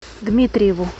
дмитриеву